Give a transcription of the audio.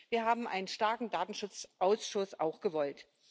Wir haben einen starken Datenschutzausschuss auch gewollt.